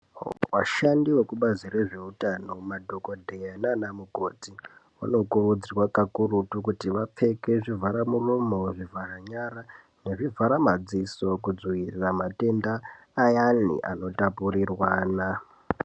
Vashandi vekubazi rezvehutano madhokodheya nana mukoti vanokurudzirwa kakurutu vapfeke zvivhara muromo zvivhara nyara ngezvivhara madziso kudzivirira matenda ayani anotapurirwana.